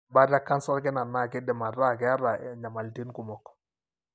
ore embaata e canser olkina na kindim ata keeta enyamalitin kumok.